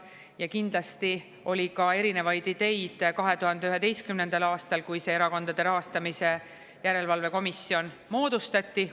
Ja kindlasti oli ka erinevaid ideid 2011. aastal, kui see Erakondade Rahastamise Järelevalve Komisjon moodustati.